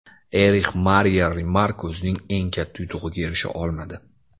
Erix Mariya Remark o‘zining eng katta yutug‘iga erisha olmadi.